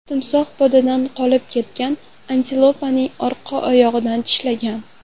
Timsoh podadan qolib ketgan antilopaning orqa oyog‘idan tishlagan.